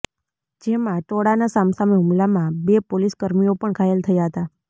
જેમાં ટોળાના સામસામે હુમલામાં બે પોલીસ કર્મીઓ પણ ઘાયલ થયા હતા